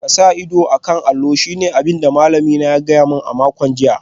Ka sa ido a kan allo shine abin da malamina ya gaya mani a makon jiya